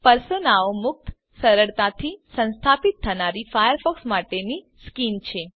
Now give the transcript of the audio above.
પર્સોનાઓ મુક્ત સરળતાથી સંસ્થાપિત થનારી ફાયરફોક્સ માટેની સ્કિન્સ છે